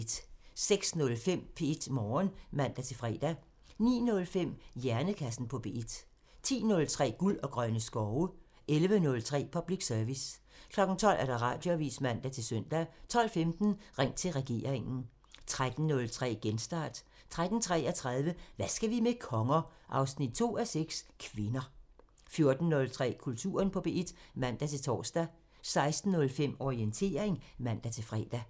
06:05: P1 Morgen (man-fre) 09:05: Hjernekassen på P1 (man) 10:03: Guld og grønne skove (man) 11:03: Public Service (man) 12:00: Radioavisen (man-søn) 12:15: Ring til regeringen (man) 13:03: Genstart (man-fre) 13:33: Hvad skal vi med konger? 2:6 – Kvinder 14:03: Kulturen på P1 (man-tor) 16:05: Orientering (man-fre)